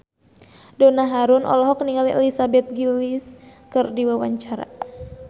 Donna Harun olohok ningali Elizabeth Gillies keur diwawancara